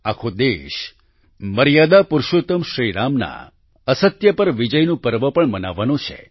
આખો દેશ મર્યાદા પુરુષોત્તમ શ્રી રામ ના અસત્ય પર વિજયનું પર્વ પણ મનાવવાનો છે